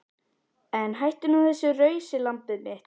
En hættu nú þessu rausi lambið mitt.